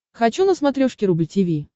хочу на смотрешке рубль ти ви